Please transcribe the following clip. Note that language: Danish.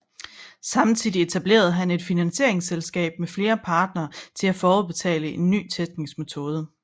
Samtidig etablerede han et finansieringsselskab med flere partnere til at forudbetale en ny teknisk metode